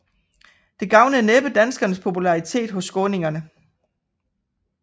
Det gavnede næppe danskernes popularitet hos skåningerne